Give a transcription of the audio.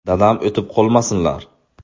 Dadam o‘tib qolmasinlar.